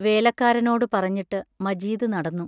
വേലക്കാരനോടു പറഞ്ഞിട്ട് മജീദ് നടന്നു.